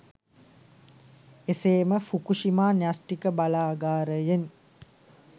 එසේ ම ෆුකුශිමා න්‍යශ්ටික බලාගාරයෙන්